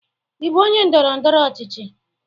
Ị bụ onye ndọrọ ndọrọ ọchịchị?